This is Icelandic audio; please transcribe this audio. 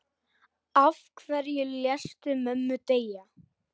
Af hverju léstu mömmu deyja?